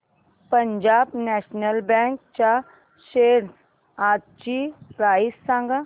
Punjab national bank च्या shares आजची price सांगा